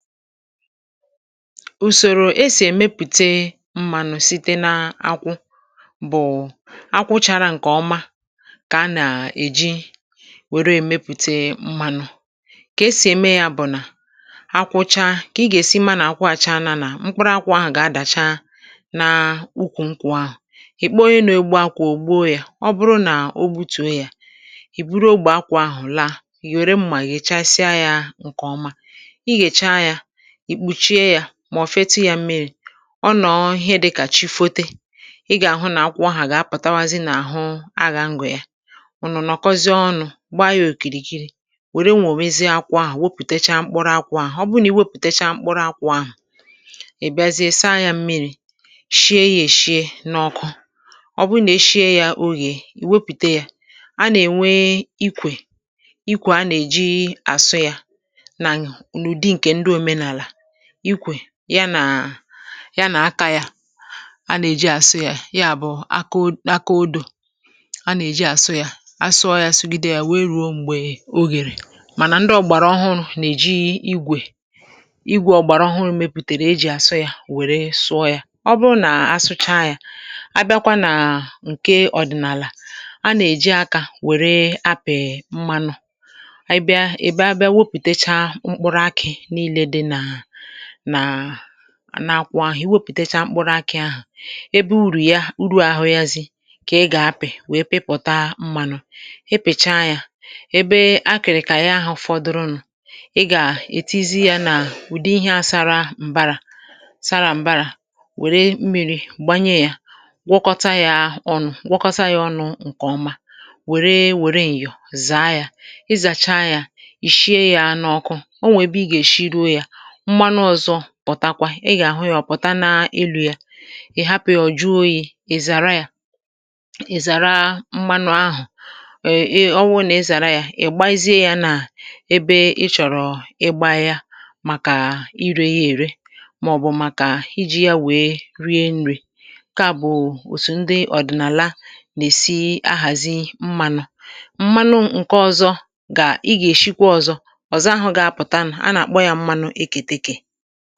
Ùsòrò esì èmepùte mmȧnụ̀ site n’akwụ, bụ̀ akwụchara ǹkè ọma, kà a nà-èji nwère èmepùte mmȧnụ̇. Kà esì ème yȧ, bụ̀ nà akwụcha, kà ị gà-èsi mma nà-akwụ àcha anȧ. Nà mkpụrụ akwụ̇ ahụ̀ gà-adàcha n’ụkwụ̇, ikpe onye nȧ-egbu akwụ̀ ògbo yȧ. Ọ bụrụ nà o gbutùo yȧ, ì buru ogbò akwụ̀ ahụ̀, laa yòre mmà, yèchasịa yȧ ǹkè ọma, ìkpùchie yȧ. Mà ọ̀ fetu yȧ mmiri̇, ọ nọ̀ ihe dịkà chifote. Ị gà-àhụ nà akwụ ahụ̀ gà-apụ̀tawazi nà àhụ, a gà-angwè ya, ọ̀ nọ̀ nọ̀kọzie ọnụ̇, gbaa ya òkìrìkiri wère nwòmezie akwụ̇ ahụ̀. Wepùtecha mkpụrụ akwụ̇ ahụ̀, ọ bụrụ nà i wepùtecha mkpụrụ akwụ̇ ahụ̀, ìbịazie saa yȧ mmiri̇, shie yȧ, èshie n’ọkụ. Ọ bụrụ nà e shie yȧ ogè, iwepùte yȧ, a nà-ènwe ikwè, ikwè a nà-èji àsụ yȧ nȧ anyà, ikwè ya nà ya nà akȧ. Yȧ a nà-èji àsụ yȧ, ya bụ̀ aka odȯ, a nà-èji àsụ yȧ, asụọ̇ yȧ, asụgide yȧ, wee rùo m̀gbè o gèrè mànà ndị ọ̀gbàrà ọhụrụ̇ nà-èji igwè, igwè ọ̀gbàrà ọhụrụ̇ mepùtèrè e jì àsụ yȧ, wère sụọ yȧ. Ọ bụrụ nà asụcha yȧ, abịakwa nà ǹke ọ̀dị̀nàlà, a nà-èji akȧ wère apị̀ mmanụ nà nà-akwụ ahụ̀. I wepùtechaa mkpụrụ akị̇ ahụ̀, ebe urù ya, uru àhụ yȧ zi, kà ị gà-apị̀ wee pipòta mmȧnụ̇. E pèchaa yȧ ebe a, kìrì kà yà ahụ̇ ụ̀fọdụrụnụ. Ị gà-ètizi yȧ n’ùdi ihe asara m̀bara, sara m̀bara, wère mmiri̇ gbanye yȧ, gwọkọta yȧ ọnụ̇, gwọkọta yȧ ọnụ̇ ǹkè ọma, wère wère ịyọ̀, zàa yȧ, ịzàcha yȧ. Ì shie yȧ a n’ọkụ, o nwè ebe ị gà-èshi ruo yȧ mmanụ ọ̀zọ. Pụ̀takwa, ị gà-àhụ ya, ọ̀ pụ̀ta n’ilù ya. Ị̀ hapụ̀ yȧ ọ̀ jụọ oyi̇, ị̀ zàra ya, ị̀ zàra mmanụ ahụ̀ e ọwụ, nà ezàra ya, ị̀ gbaizie ya nà ebe ị chọ̀rọ̀ ịgba ya, màkà irė ya ère, màọ̀bụ̀ màkà iji̇ ya wèe rie nrì. Kà bụ̀ òtù ndị ọ̀dị̀nàla nà-èsi ahàzi mmanụ, mmanụ ǹke ọ̀zọ, gà, ị gà-èsikwa ọ̀zọ ọ̀zọ ahụ̇ gà-apụ̀ta nụ̀. A nà-àkpọ ya mmanụ ǹgwaàja, à ọ̀tụtụ, ọ̀tụtụ ihe à gị̇, ihe kàja ị.